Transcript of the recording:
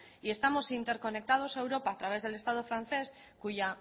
y estamos interconectados a europa a través del estado francés